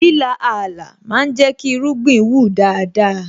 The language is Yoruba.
Líla Ààlà ma ń jẹ́ kí irúgbìn wù dáadáa